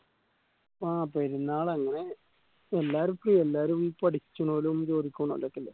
ആ പെരുന്നാൾ അങ്ങനെ എല്ലാർക്കും എല്ലാരും പഠിച്ചുനോലും ജോലിക്ക് പോണോരൊക്കെ അല്ലെ